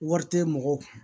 Wari tɛ mɔgɔw kun